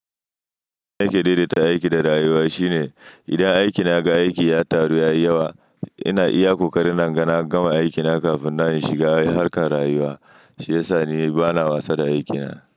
Aiki daidai ta aiki da rayuwa shine idan aiki na ga aiki ya taru ya yi yawa, ina iya ƙoƙarin nan gama aiki na kafin na shiga harkar rayuwa, shi ya sa ni bana wasa da aiki na.